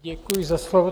Děkuji za slovo.